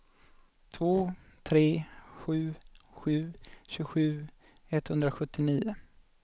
två tre sju sju tjugosju etthundrasjuttionio